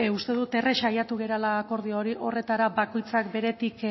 uste dut errez saiatu garela akordio horretara bakoitzak beretik